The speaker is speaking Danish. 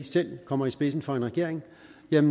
selv kommer i spidsen for en regering